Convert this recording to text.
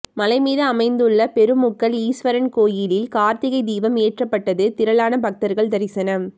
மலை மீது அமைந்துள்ள பெருமுக்கல் ஈஸ்வரன் கோயிலில் கார்த்திகை தீபம் ஏற்றப்பட்டது திரளான பக்தர்கள் தரிசனம்